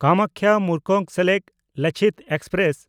ᱠᱟᱢᱟᱠᱠᱷᱟ–ᱢᱩᱨᱠᱚᱝᱥᱮᱞᱮᱠ Lachit express